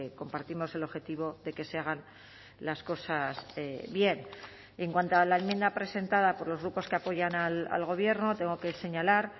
compartimos el objetivo de que se hagan las cosas bien en cuanto a la enmienda presentada por los grupos que apoyan al gobierno tengo que señalar